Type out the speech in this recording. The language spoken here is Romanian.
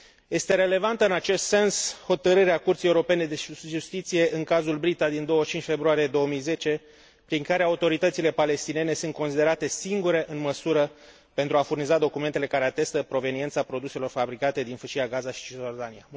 Este relevantă în acest sens hotărârea Curții Europene de Justiție în cazul Brita din 25 februarie 2010, prin care autoritățile palestiniene sunt considerate singurele în măsură să furnizeze documentele care atestă proveniența produselor fabricate în Fâșia Gaza și Cisiordania